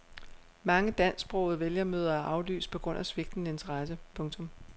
Mange dansksprogede vælgermøder er aflyst på grund af svigtende interesse. punktum